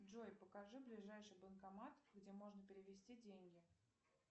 джой покажи ближайший банкомат где можно перевести деньги